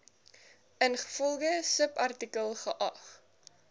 ingevolge subartikel geag